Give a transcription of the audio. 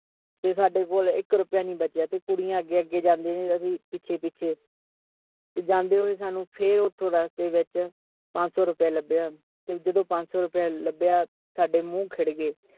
ਤੇ ਸਾਡੇ ਕੋਲ ਇਕ ਰੁਪਿਆ ਨੀ ਬਚਿਆਂ, ਤੇ ਕੁੜੀਆਂ ਅਗੇ-ਅਗੇ ਜਾਂਦੀਆਂ ਸੀ ਅਸੀਂ ਪਿਛੇ-ਪਿਛੇ ਤੇ ਜਾਂਦੇ ਹੋਏ ਸਾਨੂੰ ਫਿਰ ਓਥੋਂ ਵਿਚ ਪੰਜ ਸੌ ਰੁਪਿਆ ਲੱਭਿਆ ਤੇ ਜਦੋਂ ਪੰਜ ਸੋ ਰੁਪਿਆ ਲੱਭਿਆ ਤੇ ਸਾਡੇ ਮੂੰਹ ਖਿੜ ਗਏ